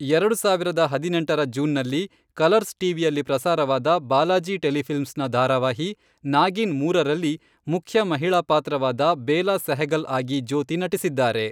ಎರಡು ಸಾವಿರದ ಹದಿನೆಂಟರ ಜೂನ್ನಲ್ಲಿ, ಕಲರ್ಸ್ ಟಿವಿಯಲ್ಲಿ ಪ್ರಸಾರವಾದ ಬಾಲಾಜಿ ಟೆಲಿಫಿಲ್ಮ್ಸ್ನ ಧಾರಾವಾಹಿ, ನಾಗಿನ್ ಮೂರರಲ್ಲಿ, ಮುಖ್ಯ ಮಹಿಳಾ ಪಾತ್ರವಾದ ಬೇಲಾ ಸೆಹಗಲ್ ಆಗಿ ಜ್ಯೋತಿ ನಟಿಸಿದ್ದಾರೆ.